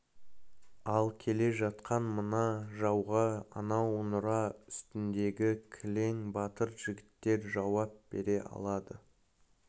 ал келе жатқан мына жауға анау нұра үстіндегі кілең батыр жігіттер жауап бере алады